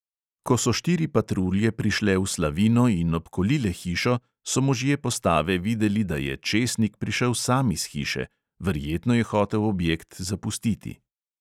Ko so štiri patrulje prišle v slavino in obkolile hišo, so možje postave videli, da je česnik prišel sam iz hiše, verjetno je hotel objekt zapustiti.